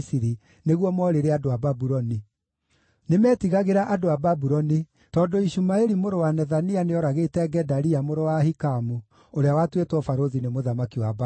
nĩguo moorĩre andũ a Babuloni. Nĩmetigagĩra andũ a Babuloni tondũ Ishumaeli mũrũ wa Nethania nĩooragĩte Gedalia mũrũ wa Ahikamu, ũrĩa watuĩtwo barũthi nĩ mũthamaki wa Babuloni.